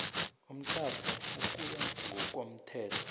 umtjhado ukuya ngokomthetho